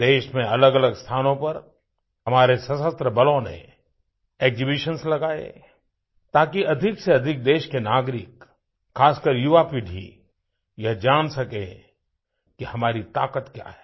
देश में अलगअलग स्थानों पर हमारे सशस्त्र बलों ने एक्सिबिशंस लगायेताकि अधिक से अधिक देश के नागरिक खासकर युवापीढ़ी यह जान सके कि हमारी ताक़त क्या है